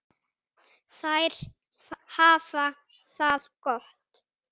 Þær hafa það gott.